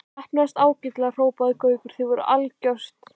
Heppnaðist ágætlega hrópaði Gaukur, þið voruð algjört.